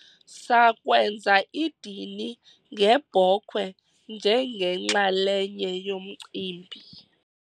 sakwenza idini ngebhokhwe njengenxalenye yomcimbi